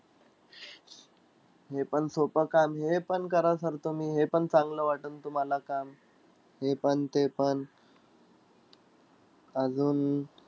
हे पण सोपं काम आहे, हे पण करा sir तुम्ही. हे पण चांगलं वाटेनं तुम्हाला काम. हे पण, ते पण. अजून,